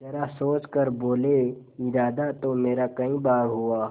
जरा सोच कर बोलेइरादा तो मेरा कई बार हुआ